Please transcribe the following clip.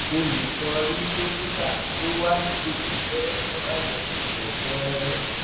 o lè lọ rí dókítà tó wà nítòsí rẹ fún àyẹwò tó kún rẹrẹ